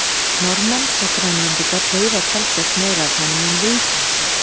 Norðmenn og Grænlendingar veiða talsvert meira af honum en við Íslendingar.